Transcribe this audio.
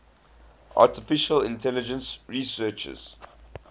artificial intelligence researchers